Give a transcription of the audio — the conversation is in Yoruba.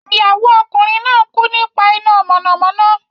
Ìyàwó ọkùnrin náà kú nípa iná mọ̀nàmọ́ná.